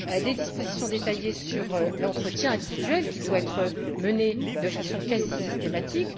les dispositions détaillées sur l'entretien individuel, qui doit être mené de façon quasi systématique